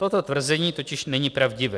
Toto tvrzení totiž není pravdivé.